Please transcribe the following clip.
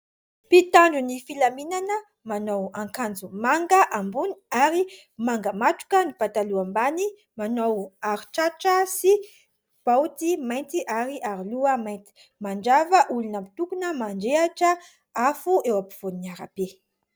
mpitandro ny filaminana manao ankanjo manga ambony ary mangamatroka ny pataloham-bany manao aritratra sy baoty mainty ary aroloha mainty manjava olona mitokona manjehatra afo eo am-pivoan'ny arabe